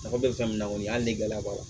Mɔgɔ bɛ fɛn min na kɔni hali ni gɛlɛya b'a la